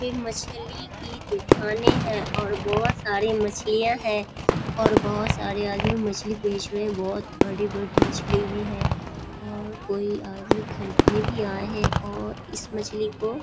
ये मछली की दुकानें हैं और बहोत सारे मछलीयाँ हैं और बहोत सारे आदमी मछली बेच रहे हैं बहोत बड़ी-बड़ी मछली भी है और कोई आदमी खरीदने भी आए हैं और इस मछली को --